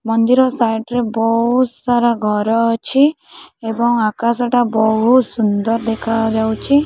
ମନ୍ଦିର ସାଇଟ୍ ରେ ବୋହୁତ ସାରା ଘର ଅଛି ଏବଂ ଆକାଶଟା ବୋହୁତ ସୁନ୍ଦର ଦେଖାଯାଉଛି।